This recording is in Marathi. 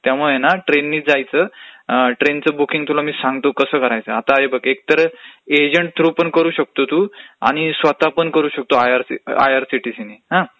त्यामुळे ना असं आहे. ट्रेननीच जायचं, बुकींग तुला मी सांगतो कसं करायचं. हे बघ एक तर एक आता एजंट थ्रू पण करू शकतो तू आणि स्वतःपण करू शकतो आयआरसीटीसीनी.